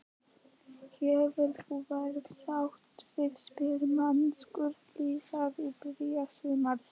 Hefur þú verið sáttur við spilamennskuna liðsins í byrjun sumars?